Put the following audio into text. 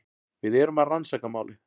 Við erum að rannsaka málið.